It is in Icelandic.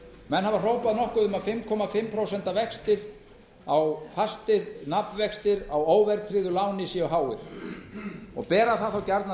menn hafa hrópað nokkuð um að fimm og hálft prósent fastir nafnvextir á óverðtryggðu láni séu háir og bera það þá gjarnan